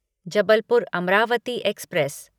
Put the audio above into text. Jabalpur Amravati express